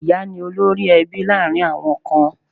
Ìyá ni olórí-ẹbí láàrin àwọn Akan.